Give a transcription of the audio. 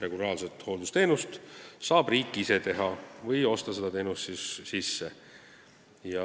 Regulaarset hooldusteenust võib riik ise osutada või seda sisse osta.